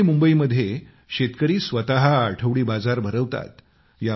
पुणे आणि मुंबईमध्ये शेतकरी स्वतः आठवडी बाजार भरवतात